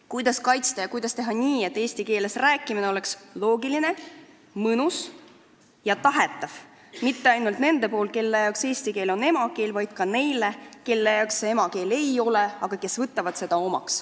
Kuidas kaitsta ja kuidas teha nii, et eesti keeles rääkimine oleks loogiline ja mõnus ja et seda ei tahaks teha mitte ainult need, kelle jaoks eesti keel on emakeel, vaid ka need, kelle jaoks see emakeel ei ole, aga kes on selle omaks võtnud?